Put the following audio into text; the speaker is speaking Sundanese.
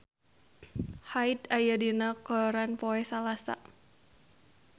Hyde aya dina koran poe Salasa